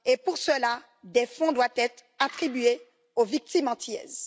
Pour cela, des fonds doivent être attribués aux victimes antillaises.